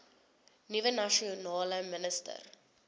nuwe nasionale minister